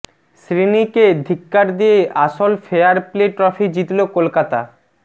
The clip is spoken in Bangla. শ্রীনিকে ধিক্কার দিয়ে আসল ফেয়ার প্লে ট্রফি জিতল কলকাতা